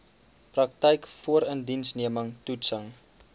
praktyk voorindiensneming toetsing